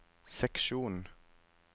seksjon